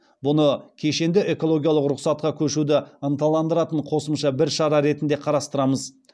бұны кешенді экологиялық рұқсатқа көшуді ынталандыратын қосымша бір шара ретінде қарастырамыз